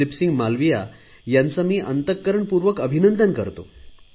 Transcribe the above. दिलीपसिंह मालवीया यांचे मी अंतकरणपूर्वक अभिनंदन करतो